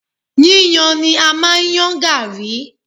Yíyàn ni a máa ń yan Garri.